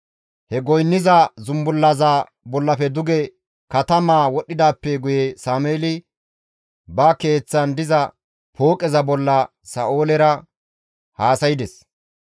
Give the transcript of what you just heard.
He goynniza zumbullaza bollafe duge katamaa wodhdhidaappe guye Sameeli ba keeththan diza pooqeza bolla Sa7oolera haasaydes.